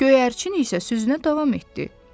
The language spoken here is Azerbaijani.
Göyərçin isə sözünə davam etdi.